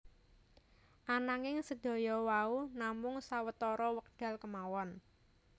Ananging sedaya wau namung sawetara wekdal kemawon